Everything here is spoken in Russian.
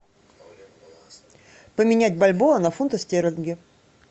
поменять бальбоа на фунты стерлинги